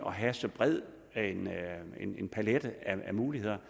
have så bred en palet af muligheder